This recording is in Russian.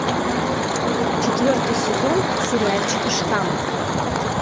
четвертый сезон сериальчика штамм